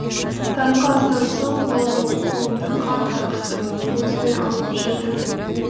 таңғы астан соң ол менің қолымды қатты қысып өзімен алып жүрді